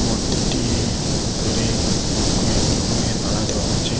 মূর্তিটির উপরে কয়েক রকমের মালা দেওয়া আছে।